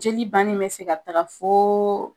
Jeli bannen be se ka taga fo